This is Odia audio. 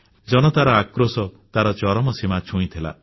ଜନତାର ଆକ୍ରୋଶ ତାର ଚରମସୀମା ଛୁଇଁଥିଲା